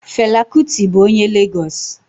Fela Kuti bụ onye Legos